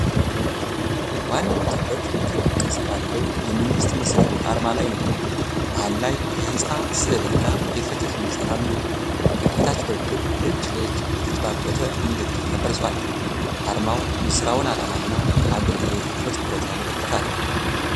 ዋናው ትኩረት ክብ ቅርጽ ባለው የመንግሥት መሥሪያ ቤት አርማ ላይ ነው። መሃል ላይ የሕንፃ ሥዕልና የፍትሕ ሚዛን አሉ። በታች በኩል እጅ ለእጅ የተጨበጠበት ምልክት ተቀርጿል። አርማው የሥራውን ዓላማና አገልግሎት በትኩረት ያመለክታል።